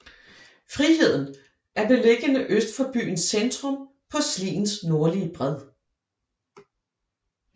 Friheden er beliggende øst for byens centrum på Sliens nordlige bred